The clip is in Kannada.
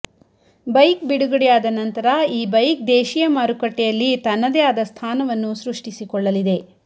ಬೈಕ್ ಬಿಡುಗಡೆಯಾದ ನಂತರ ಈ ಬೈಕ್ ದೇಶಿಯ ಮಾರುಕಟ್ಟೆಯಲ್ಲಿ ತನ್ನದೇ ಆದ ಸ್ಥಾನವನ್ನು ಸೃಷ್ಟಿಸಿ ಕೊಳ್ಳಲಿದೆ